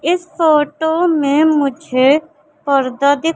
इस फोटो में मुझे पर्दा दि--